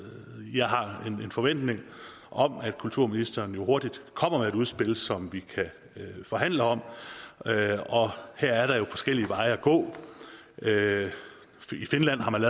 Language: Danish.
jeg har en forventning om at kulturministeren hurtigt kommer med et udspil som vi kan forhandle om og her er der jo forskellige veje at gå i finland har man